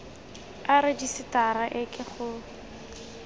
a rejisetara e ke go